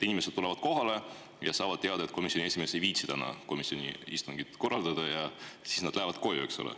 Inimesed tulevad kohale ja saavad teada, et komisjoni esimees ei viitsi täna komisjoni istungit korraldada, ja siis nad lähevad koju, eks ole.